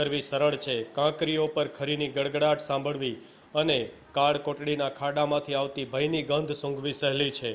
કરવી સરળ છે કાંકરીઓ પર ખરીની ગડગડાટ સાંભળવી અને કાળકોટડીના ખાડામાંથી આવતી ભયની ગંધ સૂંઘવી સહેલી છે